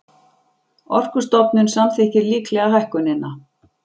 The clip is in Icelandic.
Orkustofnun samþykkir líklega hækkunina